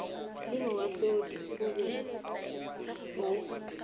le moahlodi o be o